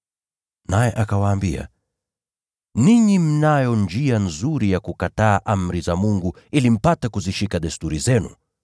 Naye akawaambia, “Ninyi mnayo njia nzuri ya kukataa amri za Mungu ili mpate kuyashika mapokeo yenu!